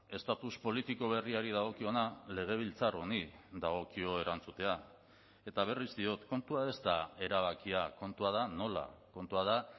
estatus politiko berriari dagokiona legebiltzar honi dagokio erantzutea eta berriz diot kontua ez da erabakia kontua da nola kontua da